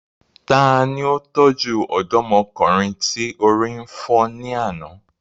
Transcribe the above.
Tani ó tọ́jú ọ̀dọ́mọkùnrin tí orí fọ́ ní àná?